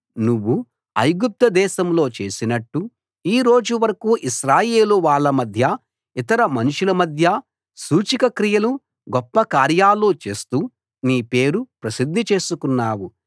నువ్వు ఐగుప్తు దేశంలో చేసినట్టు ఈరోజు వరకూ ఇశ్రాయేలు వాళ్ళ మధ్య ఇతర మనుషుల మధ్య సూచక క్రియలు గొప్ప కార్యాలు చేస్తూ నీ పేరు ప్రసిద్ధి చేసుకున్నావు